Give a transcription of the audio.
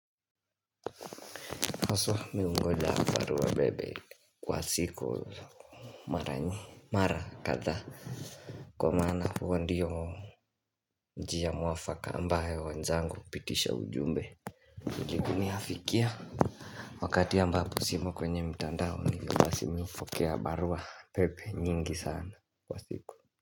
Haswa mimi hungoja barua pepe kwa siku Mara kadha kwa maana huwa ndiyo njia mwafaka ambayo wanzangu hupitisha ujumbe huniafikia Wakati ambapo simo kwenye mitandao hivyo basi mimi hupokea barua pepe nyingi sana kwa siku.